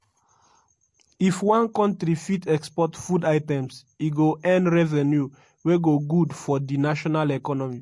"if one country fit export food items e go earn revenue wey go good for di national economy."